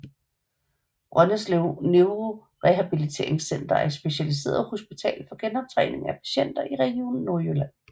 Brøndeselv Neurorehabiliteringscenter er et specialiseret hospital for genoptræning af patienter i Region Nordjylland